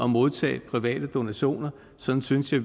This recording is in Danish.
modtage private donationer sådan synes jeg